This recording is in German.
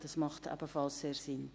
Dies macht ebenfalls sehr Sinn.